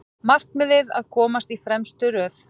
Markmiðið að komast í fremstu röð